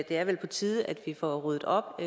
er vel på tide at vi får ryddet op